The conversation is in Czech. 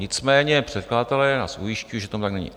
Nicméně předkladatelé nás ujišťují, že to tak není.